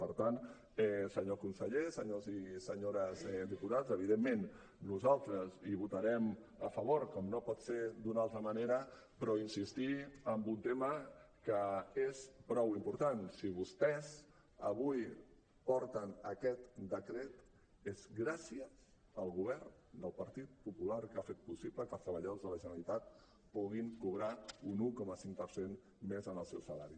per tant senyor conseller senyors i senyores diputats evidentment nosaltres hi votarem a favor com no pot ser d’una altra manera però insistir en un tema que és prou important si vostès avui porten aquest decret és gràcies al govern del partit popular que ha fet possible que els treballadors de la generalitat puguin cobrar un un coma cinc per cent més en el seu salari